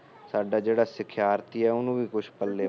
ਸਾਡਾ ਜਿਹੜਾ ਸਿਖਿਆਰਥੀ ਏ ਉਹਨੂੰ ਵੀ ਪੱਲ਼ੇ